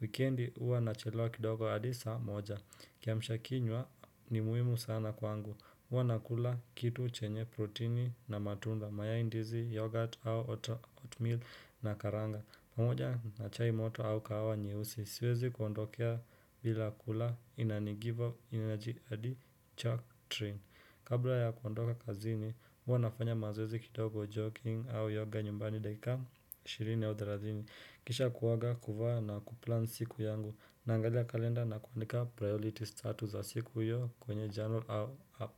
Wikendi huwa nachelewa kidogo hadi saa moja. Kiamsha kinywa ni muhimu sana kwangu. Huwa nakula kitu chenye protini na matunda. Mayai, ndizi yogurt au oatmeal na karanga. Pamoja na chai moto au kahawa nyeusi. Siwezi kuondokea bila kula inanigiva energy hadi chak train. Kabla ya kuondoka kazini Huwa nafanya mazoezi kidogo jogging au yoga nyumbani dakika 20 au 30 kisha kuoga kuvaa na kuplan siku yangu. Naangalia kalenda na kuandika priorities tatu za siku hiyo kwenye journal au app.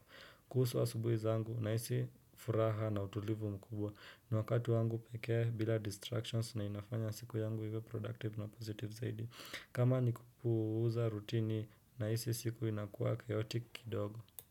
Kuhusu asubuhi zangu nahisi furaha na utulivu mkubwa ni wakatu wangu pekee bila distractions na inafanya siku yangu iwe productive na positive zaidi. Kama nikupuuza rutini nahisi siku inakuwa chaotic kidogo.